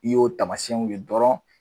N'i y'o taamasiyɛnw ye dɔrɔn